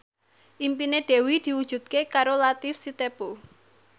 impine Dewi diwujudke karo Latief Sitepu